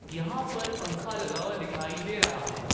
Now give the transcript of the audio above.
यहां पर पंखा लगा हुआ दिखाई दे रहा है।